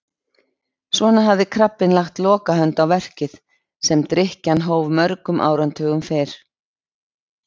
Svona hafði krabbinn lagt lokahönd á verkið sem drykkjan hóf mörgum áratugum fyrr.